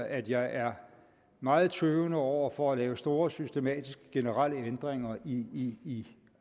at jeg er meget tøvende over for at lave store systematiske generelle ændringer i